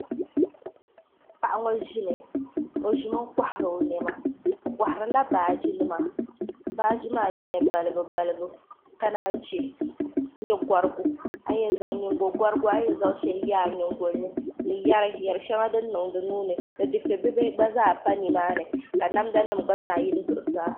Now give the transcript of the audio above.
paɣa ŋo ʒimi o ʒimi kohari o niɛma o koharila baaji nima baaji maa nyɛla balibu nalibu ka naan chɛ nyingokorigu a ni yɛn zaŋ shɛli niŋ a nyingoli ni din gba pa nimaani ka namda nim yili zuɣusaa